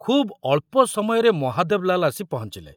ଖୁବ ଅଳ୍ପ ସମୟରେ ମହାଦେବ ଲାଲ ଆସି ପହଞ୍ଚିଲେ।